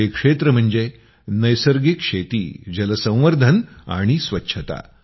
ते क्षेत्र म्हणजे नैसर्गिक शेती जलसंवर्धन आणि स्वच्छता